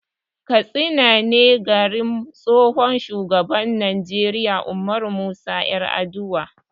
Katsina ne garin tsohon shugaban Najeriya Ummaru Musa 'Yaraduwa.